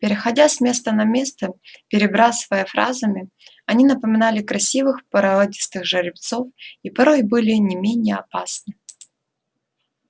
переходя с места на место перебрасываясь фразами они напоминали красивых породистых жеребцов и порой были не менее опасны